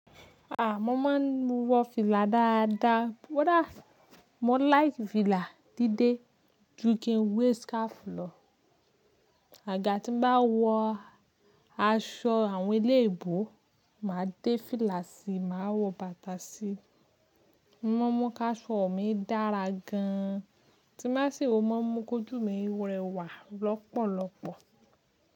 A! Mo máa ń wọ́ fìlà dáadáa. Ko dá, mo like fìlà dídé jú kí ń wẹ̀r scarf lọ. Àgaga tí mo bá wọ́ aṣọ àwọn elébò, màá dé fìlà sí, màá wọ́ batà sí. O mọ́ mu ká aṣọ mi dára gan an. Tí nbá ṣi wọ, o mọ́ mu kójú mi rẹwà lọ́pọ̀lọ́pọ̀.